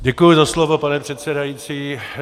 Děkuji za slovo, pane předsedající.